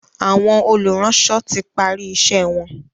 Àwọn olùránsọ tí pari iṣé wón.